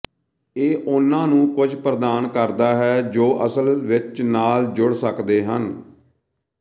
ਇਹ ਉਹਨਾਂ ਨੂੰ ਕੁਝ ਪ੍ਰਦਾਨ ਕਰਦਾ ਹੈ ਜੋ ਉਹ ਅਸਲ ਵਿੱਚ ਨਾਲ ਜੁੜ ਸਕਦੇ ਹਨ